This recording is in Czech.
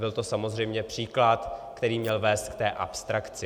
Byl to samozřejmě příklad, který měl vést k té abstrakci.